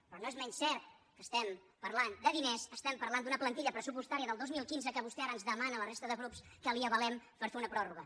però no és menys cert que estem parlant de diners estem parlant d’una plantilla pressupostària del dos mil quinze que vostè ara ens demana a la resta de grups que la hi avalem per fer una pròrroga